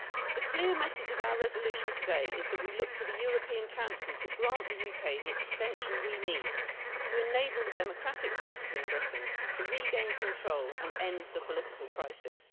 The clear message of our resolution today is that we look to the European Council to grant the UK the extension we need to enable the democratic forces in Britain to regain control and end the political crisis.